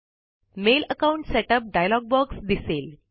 mail account setup dialog box दिसेल